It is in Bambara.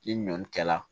Ni ɲɔn kɛla